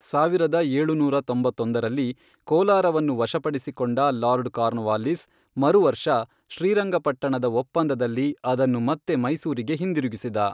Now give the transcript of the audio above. ಸಾವಿರದ ಏಳುನೂರ ತೊಂಬತ್ತೊಂದರಲ್ಲಿ, ಕೋಲಾರವನ್ನು ವಶಪಡಿಸಿಕೊಂಡ ಲಾರ್ಡ್ ಕಾರ್ನ್ವಾಲಿಸ್, ಮರುವರ್ಷ ಶ್ರೀರಂಗಪಟ್ಟಣದ ಒಪ್ಪಂದದಲ್ಲಿ ಅದನ್ನು ಮತ್ತೆ ಮೈಸೂರಿಗೆ ಹಿಂದಿರುಗಿಸಿದ.